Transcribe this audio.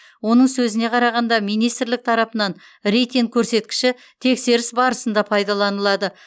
оның сөзіне қарағанда министрлік тарапынан рейтинг көрсеткіші тексеріс барысында пайдаланылады